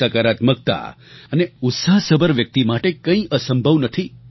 સકારાત્મકતા અને ઉત્સાહસભર વ્યક્તિ માટે કંઈ અસંભવ નથી